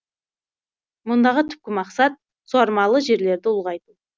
мұндағы түпкі мақсат суармалы жерлерді ұлғайту